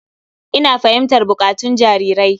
Ina fahimtar buƙatun jarirai.